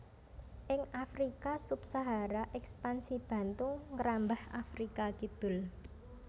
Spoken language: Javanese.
Ing Afrika Sub Sahara Èkspansi Bantu ngrambah Afrika Kidul